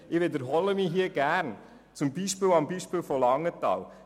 Ich wiederhole mich hier gerne am Beispiel von Langenthal: